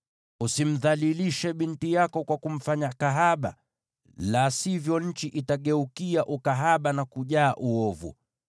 “ ‘Usimdhalilishe binti yako kwa kumfanya kahaba, la sivyo nchi itageukia ukahaba na kujaa uovu.